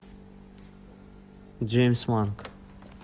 джеймс манк